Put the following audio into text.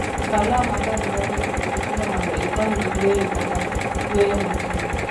Kaw law maber mar wuoth kod pilo mondo ikonygi yueyo kata yueyo matin.